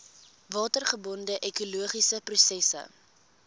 watergebonde ekologiese prosesse